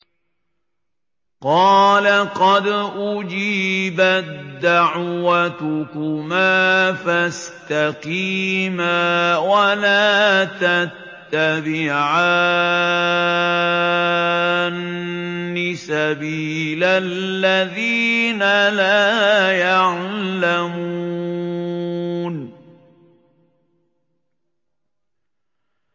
قَالَ قَدْ أُجِيبَت دَّعْوَتُكُمَا فَاسْتَقِيمَا وَلَا تَتَّبِعَانِّ سَبِيلَ الَّذِينَ لَا يَعْلَمُونَ